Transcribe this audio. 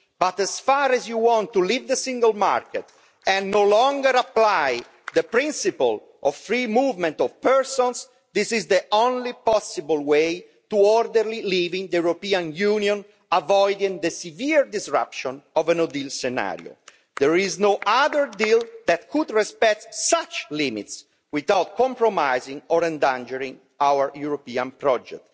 But insofar as you want to leave the single market and no longer apply the principle of free movement of persons, this is the only possible way to leave the European Union in an orderly manner, avoiding the severe disruption of a no-deal scenario. There is no other deal that could respect such limits without compromising or endangering our European project.